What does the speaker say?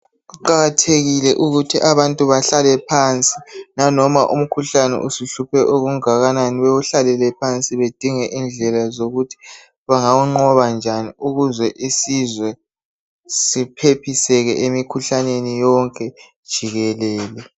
Kuqakathekile ukuthi abantu bahlale phansi lanoma umkhuhlane usuhluphe okungakanani bewuhlalele phansi bedinge indlela yokuthi bengawunqoba njani ukuze isizwe siphephiseke emikhuhlaneni yonke jikelele.